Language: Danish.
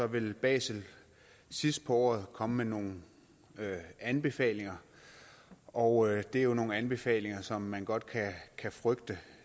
vil basel sidst på året komme med nogle anbefalinger og det er nogle anbefalinger som man godt kan frygte